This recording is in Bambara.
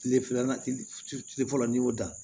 Tile filanan tile fɔlɔ ni y'o dan